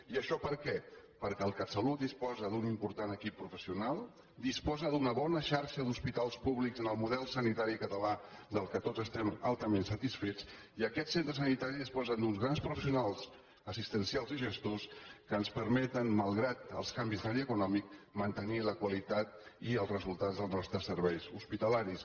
i això per què perquè el catsalut disposa d’un important equip professional disposa d’una bona xarxa d’hospitals públics en el model sanitari català del que tots estem altament satisfets i aquests centres sanitaris disposen d’uns grans professionals assistencials i gestors que ens permeten malgrat els canvis d’escenari econòmic mantenir la qualitat i els resultats dels nostres serveis hospitalaris